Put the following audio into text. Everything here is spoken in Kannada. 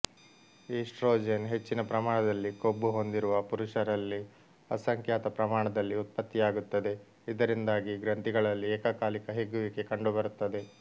ಈಸ್ಟ್ರೊಜೆನ್ ಹೆಚ್ಚಿನ ಪ್ರಮಾಣದಲ್ಲಿ ಕೊಬ್ಬು ಹೊಂದಿರುವ ಪುರುಷರಲ್ಲಿ ಅಸಂಖ್ಯಾತ ಪ್ರಮಾಣದಲ್ಲಿ ಉತ್ಪತ್ತಿಯಾಗುತ್ತದೆ ಇದರಿಂದಾಗಿ ಗ್ರಂಥಿಗಳಲ್ಲಿ ಏಕಕಾಲಿಕ ಹಿಗ್ಗುವಿಕೆ ಕಂಡುಬರುತ್ತದೆ